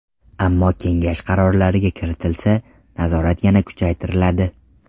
Ammo kengash qarorlariga kiritilsa, nazorat yana kuchaytiriladi.